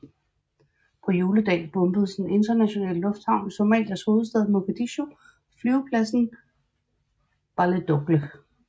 På juledag bombedes den internationale lufthavn i Somalias hovedstad Mogadishu og flyvepladsen i Baledogle